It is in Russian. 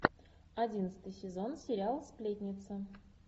одиннадцатый сезон сериал сплетница